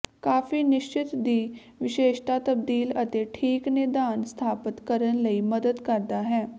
ਕਾਫੀ ਨਿਸ਼ਚਿਤ ਦੀ ਵਿਸ਼ੇਸ਼ਤਾ ਤਬਦੀਲ ਅਤੇ ਠੀਕ ਨਿਦਾਨ ਸਥਾਪਤ ਕਰਨ ਲਈ ਮਦਦ ਕਰਦਾ ਹੈ